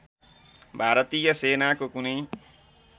भारतीय सेनाको कुनै